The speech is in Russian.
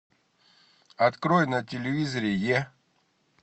открой на телевизоре е